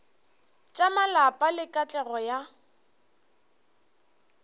tša malapa le katlego ya